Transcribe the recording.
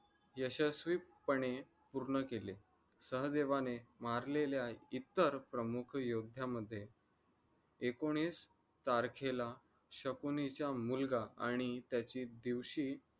यशस्वीपणे पूर्ण केले. सहदेवाने मारलेल्या इतर प्रमुख योद्धा मधे एकोणिस तारीखेला शकुनीच्या मुलगा आणि त्याचे दिवशी